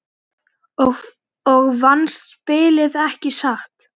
Og vannst spilið, ekki satt?